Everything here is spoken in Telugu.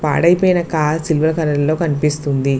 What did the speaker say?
పాడైపోయిన కార్ సిల్వర్ కలర్ లో కనిపిస్తుంది.